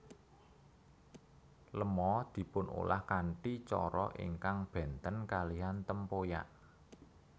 Lema dipunolah kanthi cara ingkang bènten kalihan tempoyak